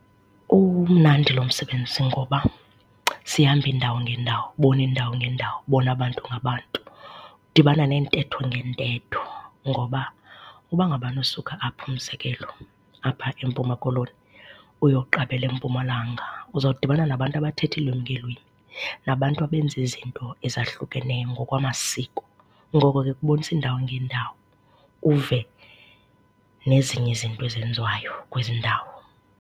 Umnandi lo msebenzi ngoba sihamba iindawo ngeendawo, ubona iindawo ngeendawo, ubona abantu ngabantu, udibana neentetho ngeentetho. Ngoba? Uba ngabana usuka apha umzekelo, apha eMpuma Koloni, uyoqabela eMpumalanga, uzodibana nabantu abathetha iilwimi ngeelwimi, nabantu abenza izinto ezahlukeneyo ngokwamasiko. Ngoko ke ukubonisa iindawo ngeendwo uve nezinye izinto ezenziwayo kwezi ndawo.